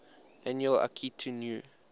annual akitu new